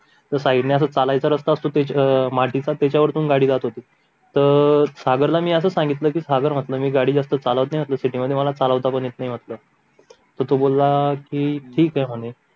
तर साईड ने असा चालायचा रास्ता असतो अं मातीचा त्याच्यावर पण गाडी जात होती तर सागर ला मी असं सांगितलं कि सागर म्हंटल मी गाडी जास्त चालवत नाही म्हंटल सी टी मध्ये मला चालवता पण येत नाही म्हंटल तर तो बोलला कि ठीक ये म्हणे